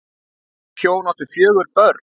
Þau hjón áttu fjögur börn.